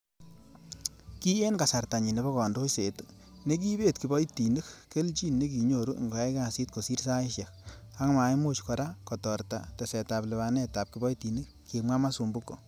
'Ki en kasartanyin nebo kandoiset, nekibet kiboitinik kelchin nekinyoru ingoyai kasit kosir saisiek, ak maimuch kora ko torta tesetab lipanet ab kiboitinik,''kimwa Masumbuko.